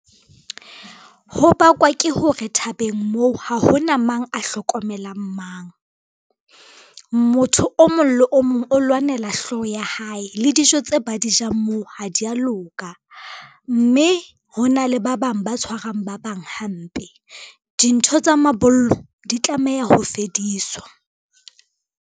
Ho bakwa ke hore thabeng moo ha hona mang a hlokomelang mang. Motho o mong le o mong o lwanela hlooho ya hae le dijo tse a di jang moo ha dia loka, mme ho na le ba bang ba tshwarang ba bang hampe. Dintho tsa mabollo di tlameha ho fediswa.